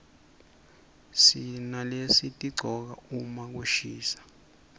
sinalesitigcoka uma kushisa